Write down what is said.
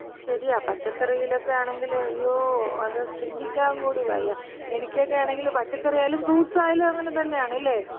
ശരിയാ. പച്ചക്കറിയിലക്കെയാണെങ്കില് അയ്യോ, അത് ചിന്തിക്കാകൂടി വയ്യ. എനിക്കൊക്കെയാണെങ്കില് പച്ചക്കറി ആയാലും ഫ്രൂട്ട്സ് ആയാലും അങ്ങനെ തന്നെയാണ്. ഇല്ലേ?